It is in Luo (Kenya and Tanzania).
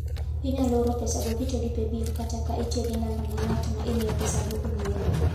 Inyalo oro pesago kitiyo gi Paybill kata tiyo gi namba ma ng'at ma imiyo pesago ong'eyogo.